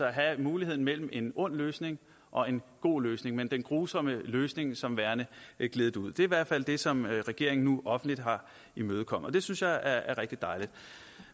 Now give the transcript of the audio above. at have muligheden mellem en ond løsning og en god løsning med den grusomme løsning som værende gledet ud det er i hvert fald det som regeringen nu offentligt har imødekommet det synes jeg er rigtig dejligt